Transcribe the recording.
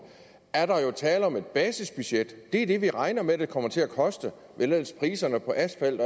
tale om et basisbudget det er det vi regner med det kommer til at koste hvis ellers priserne på asfalt